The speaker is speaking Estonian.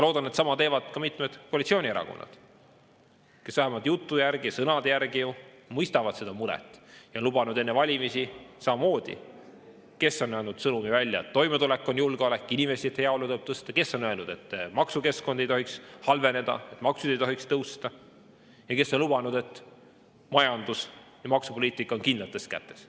Loodan, et sama teevad ka mitmed koalitsioonierakonnad, kes vähemalt jutu järgi ja sõnade järgi ju mõistavad seda muret ja on lubanud enne valimisi samamoodi – kes on andnud edasi sõnumi, et toimetulek on julgeolek, inimeste heaolu tuleb tõsta, kes on öelnud, et maksukeskkond ei tohiks halveneda, et maksud ei tohiks tõusta, ja kes on lubanud, et majandus- ja maksupoliitika on kindlates kätes.